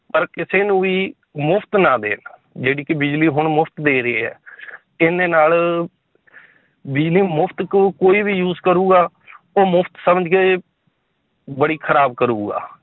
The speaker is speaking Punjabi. ਪਰ ਕਿਸੇ ਨੂੰ ਵੀ ਮੁਫ਼ਤ ਨਾ ਦੇਣ ਜਿਹੜੀ ਕਿ ਬਿਜ਼ਲੀ ਹੁਣ ਮੁਫ਼ਤ ਦੇ ਰਹੀ ਹੈ ਇਹਦੇ ਨਾਲ ਬਿਜ਼ਲੀ ਮੁਫ਼ਤ ਕੋ~ ਕੋਈ ਵੀ use ਕਰੂਗਾ ਉਹ ਮੁਫ਼ਤ ਸਮਝਕੇ ਬੜੀ ਖਰਾਬ ਕਰੂਗਾ